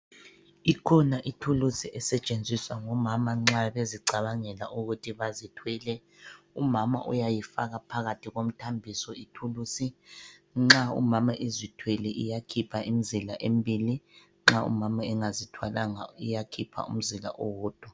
Ikhona ithuluzi esetshenziswa ngomama nxa bezicabangela ukuthi bazithwele. Umama uyayifaka phakathi komthambiso ithuluzi. Nxa umama ezithwele iyakhipha imzila embili nxa umama engazithwalanga iyakhipha umzila owodwa.